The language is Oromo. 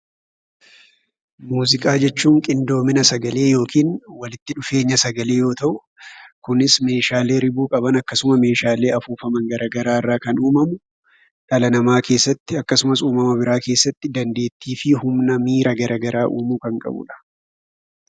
Muuziqaa jechuun qindoomina sagalee yookiin walitti dhufeenya sagalee yoo ta'u, kunis meeshaalee ribuu qaban akkasuma meeshaalee afuufaman garaagaraa irraa kan uumamu, dhala namaa keessatti akkasumas uumama biraa keessatti dandeettii fi humna miira garaagaraa uumu kan qabu dha.